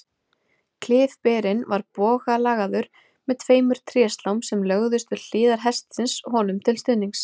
Klyfberinn var bogalagaður með tveimur tréslám sem lögðust við hliðar hestsins honum til stuðnings.